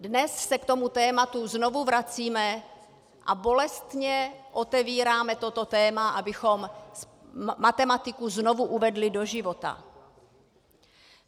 Dnes se k tomu tématu znovu vracíme a bolestně otevíráme toto téma, abychom matematiku znovu uvedli do života.